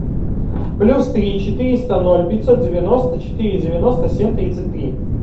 плюс три четыреста ноль пятьсот девяносто четыре девяносто семь тридцать три